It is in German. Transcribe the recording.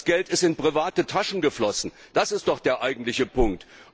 Das Geld ist in private Taschen geflossen, das ist doch der eigentliche Punkt.